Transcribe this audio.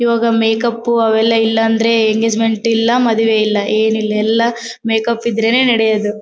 ಈವಾಗ makeup ಅವೆಲ್ಲಾ ಇಲ್ಲಾ ಅಂದ್ರೆ ಎಂಗೇಜ್ಮೆಂಟ್ ಇಲ್ಲಾ ಮದ್ವೆ ಇಲ್ಲಾ ಏನ್ ಇಲ್ಲಾ ಎಲ್ಲಾ ಮೇಕ್ಅಪ್ ಇದ್ರೇನೆ ನಡೆಯೋದು.